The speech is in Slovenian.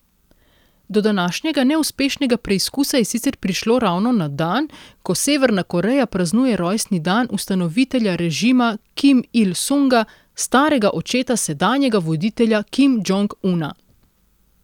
Do današnjega neuspešnega preizkusa je sicer prišlo ravno na dan, ko Severna Koreja praznuje rojstni dan ustanovitelja režima Kim Il Sunga, starega očeta sedanjega voditelja Kim Džong Una.